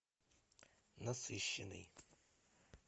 насыщенный